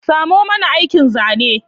Samo mani aikin zanen